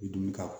I dun ka